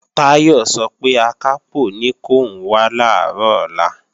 Táyọ̀ sọ pé Akápò ní kòun wá làárọ̀ ọ̀la